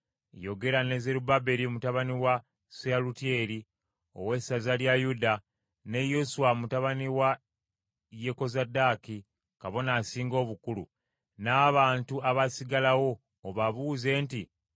“Yogera ne Zerubbaberi mutabani wa Seyalutyeri, ow’essaza lya Yuda ne Yoswa mutabani wa Yekozadaaki kabona asinga obukulu, n’abantu abaasigalawo, obabuuze nti,